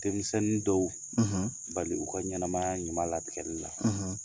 Denmisɛnnin dɔw, , bali u ka ɲɛnamaya ɲuman latigɛli la.